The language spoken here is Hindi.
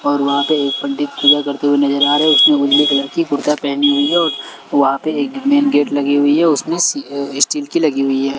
और वहां पे एक पंडित पूजा करते हुए नजर आ रहे उसने उजले कलर की कुर्ता पहनी हुई है और वहां पे एक मेन गेट लगी हुई है उसमें सी अ स्टील की लगी हुई है।